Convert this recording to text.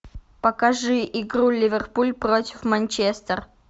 покажи игру ливерпуль против манчестер